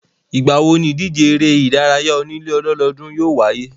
Ìgbà wo níìdíje eré ìdárayá onílé ọlọ́dọọ́dún yóò wáyé?